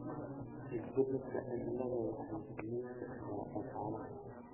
Isbeddelka cimiladu waxay saameyn kartaa dhaqaalaha.